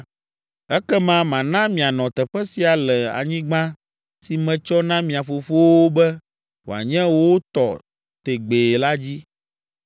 ekema mana mianɔ teƒe sia le anyigba si metsɔ na mia fofowo be wòanye wo tɔ tegbee la dzi.